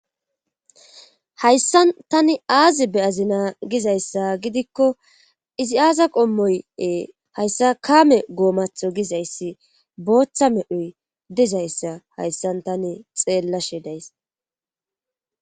hayssan tani aazi beyazina gizayssa gidikko izi aaza qommoyi hayssa kaame goomatho gizayssi booththa medhoy dizayssa hayssan tani xeellashe days